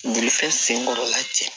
Birifɛn senkɔrɔla cɛ